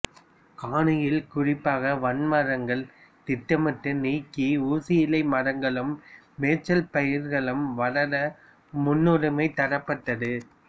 கானியலில் குறிப்பாக வன்மரங்கள் திட்டமிட்டு நீக்கி ஊசியிலை மரங்களும் மேய்ச்சல்பயிர்களும் வளர முன்னுரிமை தரப்பட்டது